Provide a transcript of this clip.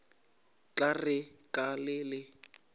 tla re ka le le